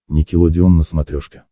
никелодеон на смотрешке